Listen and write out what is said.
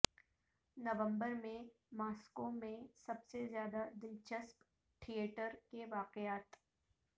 نومبر میں ماسکو میں سب سے زیادہ دلچسپ تھیٹر کے واقعات